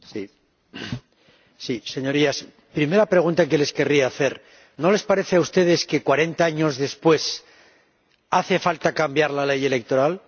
Señora Presidenta, Señorías, primera pregunta que les querría hacer ¿No les parece a ustedes que cuarenta años después hace falta cambiar la ley electoral?